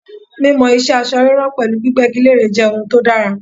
Mímọ ìṣe aṣọ ríran pẹ̀lú gbígbégi lére jẹ́ ohun tó dára.